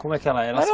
Como é que ela assim?